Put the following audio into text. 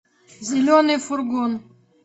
зеленый фургон